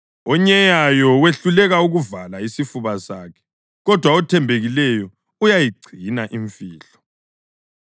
Onyeyayo wehluleka ukuvala isifuba sakhe, kodwa othembekileyo uyayigcina imfihlo.